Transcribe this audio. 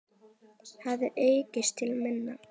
hefur aukist til muna.